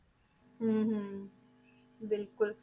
ਹਮ ਹਮ ਬਿਲਕੁਲ